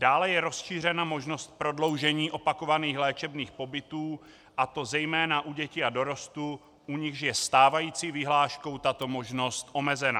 Dále je rozšířena možnost prodloužení opakovaných léčebných pobytů, a to zejména u dětí a dorostu, u nichž je stávající vyhláškou tato možnost omezena.